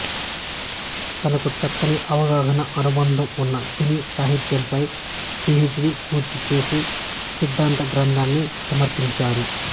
తనకు చక్కని అవగాహన అనుభవం ఉన్న సినీ సాహిత్యంపై పి హెచ్ డి పూర్తిచేసి సిద్ధాంత గ్రంథాన్ని సమర్పించారు